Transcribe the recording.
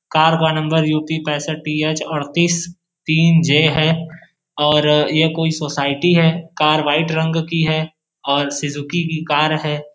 Car का नंबर UP पैसठ टीएच अड़तीस तीन जे है और ये कोई सोसाइटी है। कार वाइट रंग की है और सिजूकी की कार है।